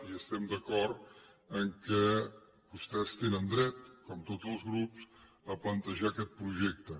i estem d’acord que vostès tenen dret com tots els grups a plantejar aquest projecte